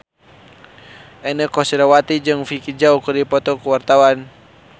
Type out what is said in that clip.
Inneke Koesherawati jeung Vicki Zao keur dipoto ku wartawan